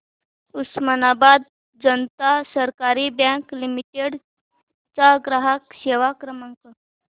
उस्मानाबाद जनता सहकारी bank limited चा ग्राहक सेवा क्रमांक